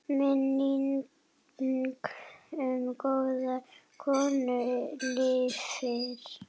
Minning um góða konu lifir.